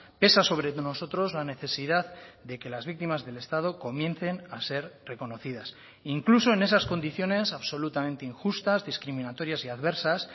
pesa sobre nosotros la necesidad de que las víctimas del estado comiencen a ser reconocidas incluso en esas condiciones absolutamente injustas discriminatorias y adversas